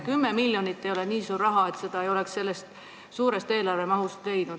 Kümme miljonit ei ole nii suur raha, et seda ei oleks sellest mahukast eelarvest leidnud.